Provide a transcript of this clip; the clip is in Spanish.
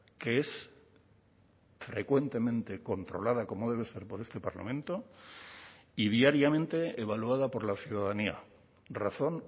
que es frecuentemente controlada como debe ser por este parlamento y diariamente evaluada por la ciudadanía razón